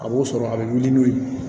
A b'o sɔrɔ a bɛ wuli n'o ye